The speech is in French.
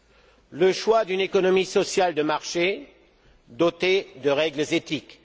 celui d'une économie sociale de marché dotée de règles éthiques